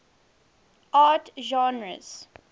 art genres